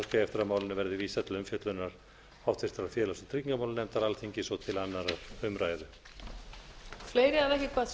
eftir að málinu verði vísað til umfjöllunar háttvirtur félags og tryggingamálanefndar alþingis og til annarrar umræðu